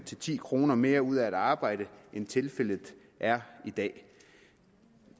ti kroner mere ud af at arbejde end tilfældet er i dag